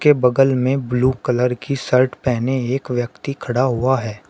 बगल में blue colour की शर्ट पहने एक व्यक्ति खड़ा हुआ है।